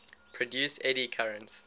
produce eddy currents